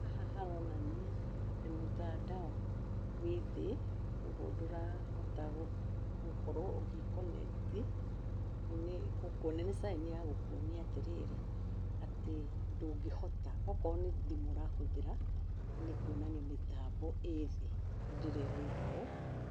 Haha haronania atĩ mũtandao wĩthĩ, kuoguo ndũrahota gũkorwo ũgĩkonekti, nĩgũkuonia nĩ caĩni ya gũkuonia atĩrĩrĩ, atĩ ndũngĩhota, akorwo nĩ thimũ ũrahũthĩra, nĩkuonania mĩtambo ĩthĩ, hĩndĩ ĩrĩa irauga ũũ,